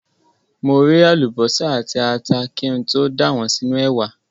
Mo ré àlùbọ́sà àti ata kí n tó dà wọ́n sínú ẹ̀wà.